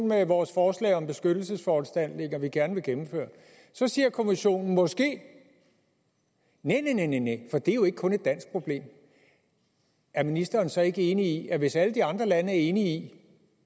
med vores forslag om beskyttelsesforanstaltninger vi gerne vil gennemføre så siger kommissionen måske næh næh næh for det er jo ikke kun et dansk problem er ministeren så ikke enig i at hvis alle de andre lande er enige i